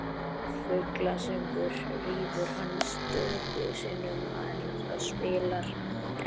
Fuglasöngur rýfur hana stöku sinnum en það spillir ekki fyrir.